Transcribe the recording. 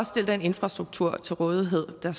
stille den infrastruktur til rådighed der